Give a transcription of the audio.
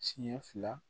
Siɲɛ fila